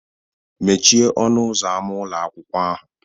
Mechie ọnụ ụzọ ámá ụlọ akwụkwọ ahu